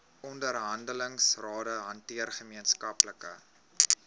onderhandelingsrade hanteer gemeenskaplike